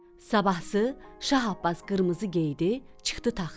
Sabahsı Şah Abbas qırmızı geydi, çıxdı taxta.